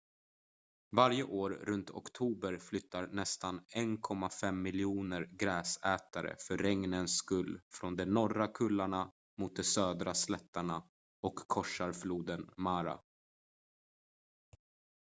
varje år runt oktober flyttar nästan 1,5 miljoner gräsätare för regnens skull från de norra kullarna mot de södra slätterna och korsar floden mara